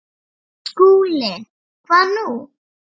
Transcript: SKÚLI: Hvað nú?